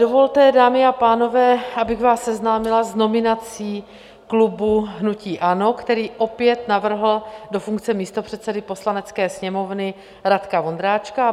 Dovolte, dámy a pánové, abych vás seznámila s nominací klubu hnutí ANO, který opět navrhl do funkce místopředsedy Poslanecké sněmovny Radka Vondráčka.